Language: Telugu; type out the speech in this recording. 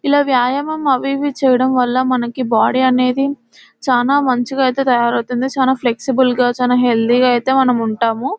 ఇలా వ్యాయామం అవి ఇవి చేయడం వల్ల మనకి బాడీ అనేది చాలా మంచిగా అయితే తయారవుతుంది. చాలా ఫ్లెక్సిబుల్గా చాలా హెల్దీ గా అయితే మనం ఉంటాము.